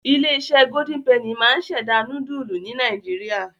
Ilé-iṣẹ́ Golden penny máa ń ṣẹ̀dá núdúlù ní Nàìjíríà.